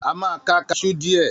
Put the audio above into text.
A máa ká kaṣú dìe.